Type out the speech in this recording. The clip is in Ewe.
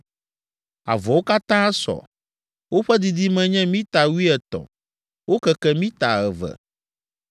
Avɔawo katã sɔ; woƒe didime nye mita wuietɔ̃, wokeke mita eve.